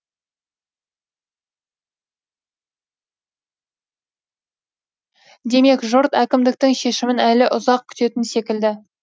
демек жұрт әкімдіктің шешімін әлі ұзақ күтетін секілді